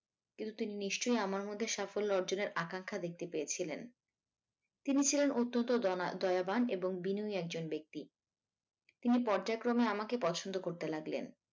কিন্তু তিনি নিশ্চয়ই আমার মধ্যে সাফল্য অর্জনের আকাঙ্খা দেখতে পেয়েছিলেন তিনি ছিলেন অত্যন্ত দনা~দয়াবান এবং বিনয়ী একজন ব্যক্তি তিনি পর্যায়ক্রমে আমাকে পছন্দ করতে লাগলেন।